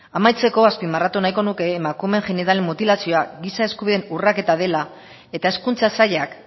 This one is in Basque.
amaitzeko azpimarratu nahiko nuke emakumeen genital mutilazioa giza eskubideen urraketa dela eta hezkuntza sailak